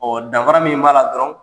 danfara min b'a la dɔrɔn